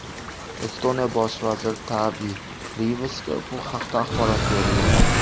Estoniya bosh vaziri Taavi Riyvasga bu haqda axborot berilgan.